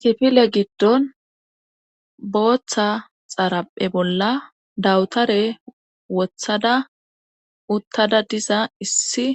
Kifile giddon booththa xaraphe bolla dawutare wothada uttada diza issi